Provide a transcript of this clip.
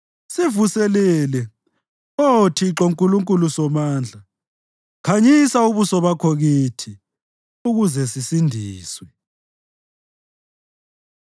Sivuselele, Oh Thixo Nkulunkulu Somandla; khanyisa ubuso bakho kithi, ukuze sisindiswe.